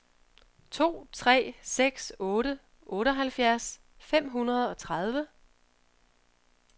to tre seks otte otteoghalvfjerds fem hundrede og tredive